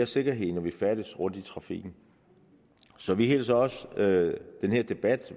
sikkerhed når vi færdes rundt i trafikken så vi hilser også den her debat